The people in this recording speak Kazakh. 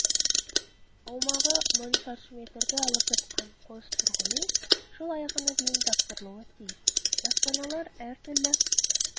аумағы мың шаршы метрді алып жатқан қос тұрғын үй жыл аяғына дейін тапсырылуы тиіс баспаналар әртүрлі